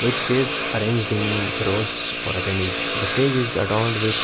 chairs arranged in rows for attendees the stage is adorned with--